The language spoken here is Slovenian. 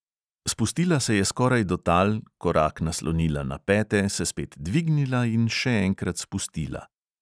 Spustila se je skoraj do tal, korak naslonila na pete, se spet dvignila in še enkrat spustila.